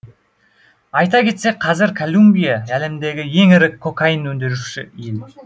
айта кетсек қазір колумбия әлемдегі ең ірі кокаин өндіруші ел